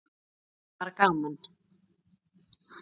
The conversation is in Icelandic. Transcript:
En það er bara gaman.